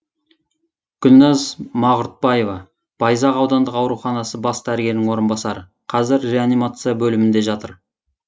гүлназ мағұртбаева байзақ аудандық ауруханасы бас дәрігерінің орынбасары қазір реанимация бөлімінде жатыр